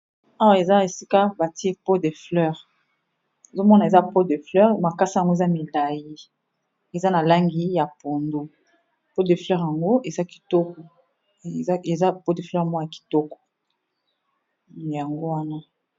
Awa eza esika ba tié pot de fleur, ozo mona eza pot de fleur makasa n'ango eza milayi , eza na langi ya pondu, pot de fleur yango eza kitoko, yango wana .